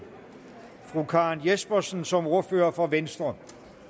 fru karen jespersen som ordfører for venstre